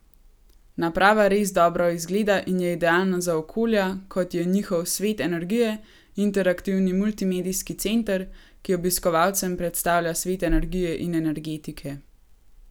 Naprava res dobro izgleda in je idealna za okolja, kot je njihov Svet energije, interaktivni multimedijski center, ki obiskovalcem predstavlja svet energije in energetike.